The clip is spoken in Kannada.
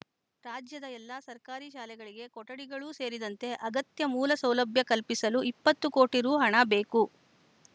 ರಾಜ್ಯದ ಎಲ್ಲ ಸರ್ಕಾರಿ ಶಾಲೆಗಳಿಗೆ ಕೊಠಡಿಗಳು ಸೇರಿದಂತೆ ಅಗತ್ಯ ಮೂಲಸೌಲಭ್ಯ ಕಲ್ಪಿಸಲು ಇಪ್ಪತ್ತು ಕೋಟಿ ರು ಹಣ ಬೇಕು